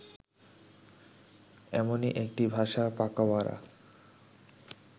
এমনই একটি ভাষা পাকাউয়ারা